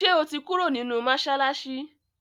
ṣe o tí Kúrò nínú masalasi?